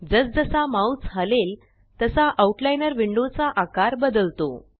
जस जसा माउस हलेल तसा आउटलाइनर विंडो चा आकार बदलतो